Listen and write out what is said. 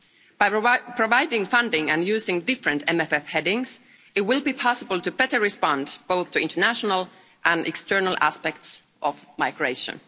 By providing funding and using different MFF headings, it will be possible to better respond both to international and external aspects of migration.